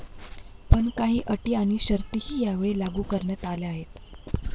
पण काही अटी आणि शर्थीही यावेळी लागू करण्यात आल्या आहेत.